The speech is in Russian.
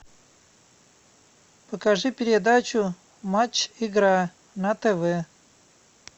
покажи передачу матч игра на тв